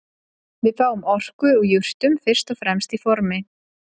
Við fáum orku úr jurtum fyrst og fremst í formi